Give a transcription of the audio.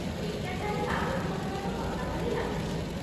ଏଇଟା ଖାଲି କାଗଜପତ୍ରର କଥା ଭଳି ଲାଗୁଛି ।